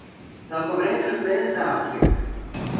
Það kom reyndar upp leiðindaatvik.